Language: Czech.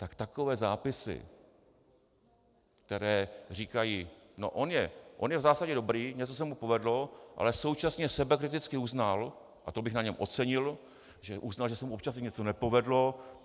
Tak takové zápisy, které říkají: No on je v zásadě dobrý, něco se mu povedlo, ale současně sebekriticky uznal, a to bych na něm ocenil, že uznal, že se mu občas i něco nepovedlo.